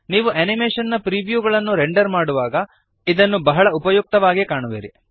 ನಿಮ್ಮ ಅನಿಮೇಶನ್ ನ ಪ್ರಿವ್ಯೂಗಳನ್ನು ರೆಂಡರ್ ಮಾಡುವಾಗ ನೀವು ಇದನ್ನು ಬಹಳ ಉಪಯುಕ್ತವಾಗಿ ಕಾಣುವಿರಿ